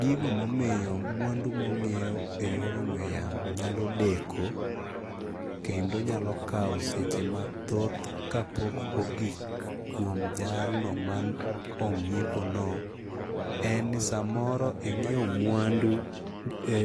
Gigo momiyo mwandu mong'iew e yor ong'we yamo nyalo deko kendo nyalo kaw seche mathoth kapok ogik kuom jalno man ong'iepo no en ni samoro ing'iew mwandu e